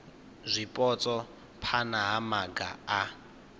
zwipotso phana ha maga a